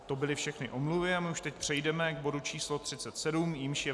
To byly všechny omluvy a my už teď přejdeme k bodu číslo 37, jímž je